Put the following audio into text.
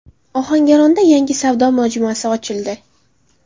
Ohangaronda yangi savdo majmuasi ochildi.